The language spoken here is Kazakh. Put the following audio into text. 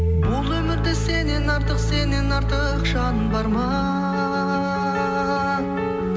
бұл өмірде сеннен артық сеннен артық жан бар ма